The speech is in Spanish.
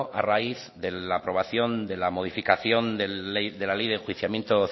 a raíz de la aprobación de la modificación de la ley de enjuiciamiento